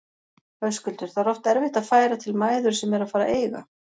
Höskuldur: Það er oft erfitt að færa til mæður sem eru að fara að eiga?